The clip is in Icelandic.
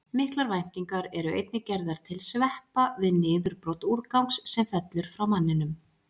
Miklar væntingar eru einnig gerðar til sveppa við niðurbrot úrgangs sem fellur frá manninum.